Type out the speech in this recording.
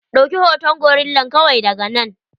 Ɗauki hoton gorillan kawai daga nan.